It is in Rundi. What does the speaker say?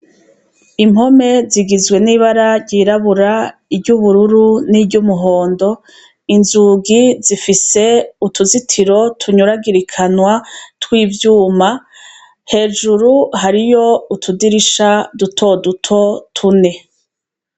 Impome zigizwe n'ibara ryirabura iryo ubururu n'iryo umuhondo inzugi zifise utuzitiro tunyuragirikanwa tw'ivyuma hejuru hariyo utudirisha dutoduto tune.